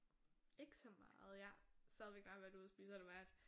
Ikke så meget jeg stadigvæk bare været ude og spise så har det været